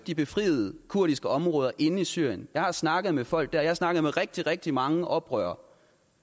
de befriede kurdiske områder inde i syrien jeg har snakket med folk der jeg har snakket med rigtig rigtig mange oprørere